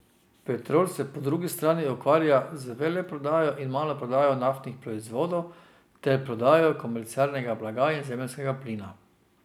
Petrol se po drugi strani ukvarja z veleprodajo in maloprodajo naftnih proizvodov ter prodajo komercialnega blaga in zemeljskega plina.